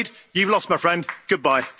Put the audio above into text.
I'm afraid you've lost, my friend. Goodbye.